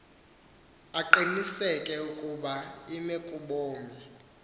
aqiniseke ukuba imekobume